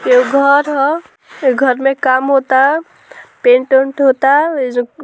एगो घर ह इ घर में काम होता पेंट - उन्ट होता एजो --